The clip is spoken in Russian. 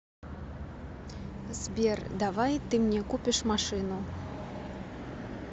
сбер давай ты мне купишь машину